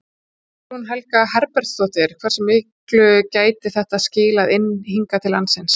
Guðný Helga Herbertsdóttir: Hversu miklu gæti þetta skilað inn hingað til lands?